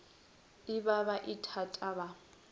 e ba ba ithata ba